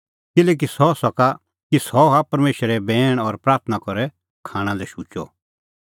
किल्हैकि सह हआ परमेशरे बैण और प्राथणां करै खाणां लै शुचअ